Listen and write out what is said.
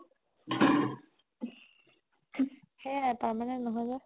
সেইয়াই তাৰমানে নহয় যে